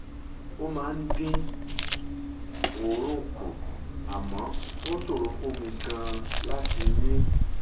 ó máa ń dín òórùn um kù àmọ́ ó um ṣòro fún um mi gan-an láti mí